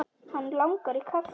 Hann langar í kaffi.